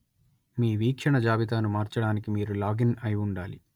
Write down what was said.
మీ వీక్షణ జాబితాను మార్చడానికి మీరు లాగిన్‌ అయి ఉండాలి